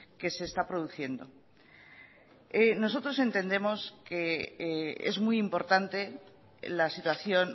que se está produciendo nosotros entendemos que es muy importante la situación